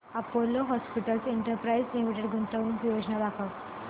Apollo hospitals enterprise limited गुंतवणूक योजना दाखव